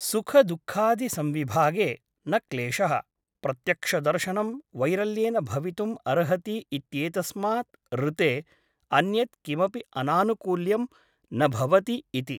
सुखदुःखादिसंविभागे न क्लेशः । प्रत्यक्षदर्शनं वैरल्येन भवितुम् अर्हति इत्येतस्मात् ऋते अन्यत् किमपि अनानुकूल्यं न भवति इति ।